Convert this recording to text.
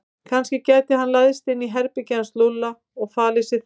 Kannski gæti hann læðst inn í herbergið hans Lúlla og falið sig þar.